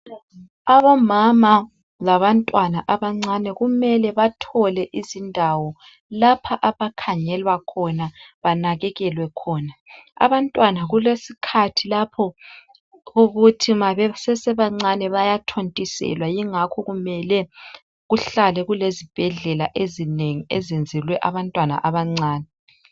Omama labantwana abancane kumele bathole izindawo lapha abakhangelwa khona banakekelwe khona. Abantwana kuleskhathi lapho ukuthi nxa besasebancane bayathontiselwa, kungakho kufanele ukuthi kuhlale kulezibhedlela ezinengi ezenzelwe abantwana abancane.